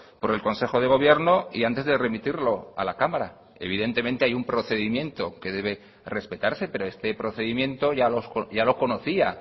por el consejo de gobierno y antes de remitirlo a la cámara evidentemente hay un procedimiento que debe respetarse pero este procedimiento ya lo conocía